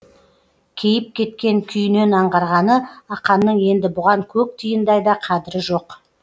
кейіп кеткен күйінен аңғарғаны ақанның енді бұған көк тиындай да қадірі жоқ